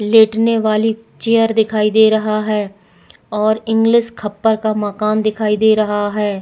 लेटने वाली चेयर दिखाई दे रहा है और इंग्लिश खप्पर का मकान दिखाई दे रहा है।